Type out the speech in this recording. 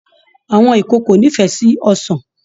Àwọn ìkòkò n'ifẹ sí ọsán